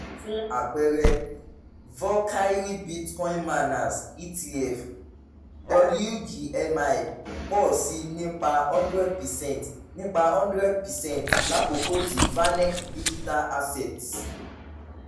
fún àpẹẹrẹ falkyrie bitcoin miners etf wgmi pọ̀ si nípa hundred per cent nípa hundred per cent lákòókò tí vaneck digital assets